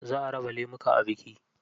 Za a raba lemuka a biki.